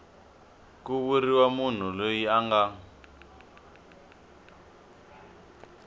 ku vuriwa munhu loyi anga